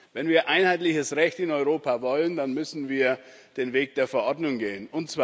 Wenn wir einheitliches Recht in Europa wollen, dann müssen wir den Weg der Verordnung gehen.